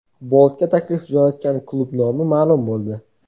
Boltga taklif jo‘natgan klub nomi maʼlum bo‘ldi.